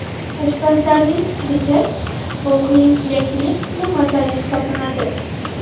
Oshpazlarning fikricha, tovuqning suyakli qismi mazali hisoblanadi.